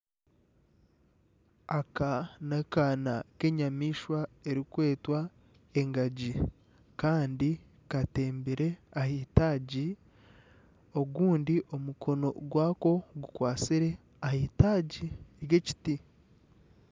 Aka n'akaana k'enyamaishwa erikwetwa engaji kandi katembire ah'eitagi ogundi omukono gwako gukwatsire ah'eitagi ry'ekiti.